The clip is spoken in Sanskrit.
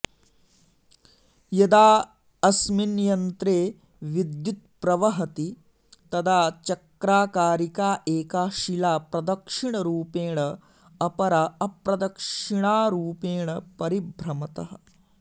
यदा अस्मिन् यन्त्रे विद्युत्प्रवहति तदा चक्राकारिका एका शिला प्रदक्षिणरूपेण अपरा अप्रदिक्षणारूपेण परिभ्रमतः